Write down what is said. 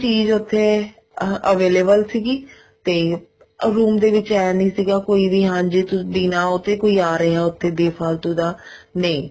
ਚੀਜ਼ ਉੱਥੇ ਆਹ available ਸੀਗੀ ਤੇ ਯੂਮ ਦੇ ਵਿੱਚ ਏਵੇਂ ਨਹੀਂ ਸੀਗਾ ਕੋਈ ਵੀ ਬਿਨਾ ਉਹ੍ਤੇ ਆ ਰਿਹਾ ਉੱਥੇ ਬੇਫਾਲ੍ਤੁ ਦਾ ਨਹੀਂ